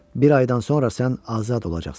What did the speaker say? Bir aydan sonra sən azad olacaqsan.